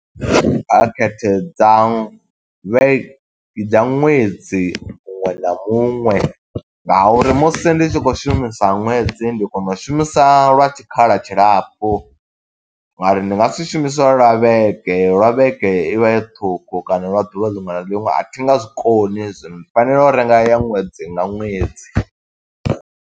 Phakhethe dza vhe dza ṅwedzi muṅwe na muṅwe nga uri musi ndi tshi khou shumisa ṅwedzi, ndi kona u shumisa lwa tshikhala tshilapfu nga uri ndi nga si shumise lwa vhege, lwa vhege i vha i ṱhukhu, kana lwa ḓuvha liṅwe na liṅwe a thi nga zwikoni hezwo. Ndi fanela u renga ya ṅwedzi nga ṅwedzi.